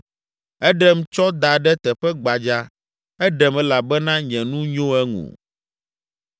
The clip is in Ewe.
Eɖem tsɔ da ɖe teƒe gbadza; eɖem elabena nye nu nyo eŋu.